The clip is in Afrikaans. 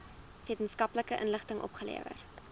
wetenskaplike inligting opgelewer